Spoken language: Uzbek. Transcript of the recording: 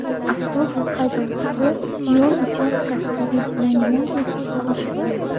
Avtobus haydovchisi yo‘l uchastkasida belgilangan tezlikni oshirgan.